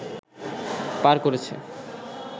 পার করেছে